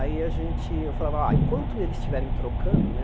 Aí a gente, eu falava, ó, enquanto eles estiverem trocando, né,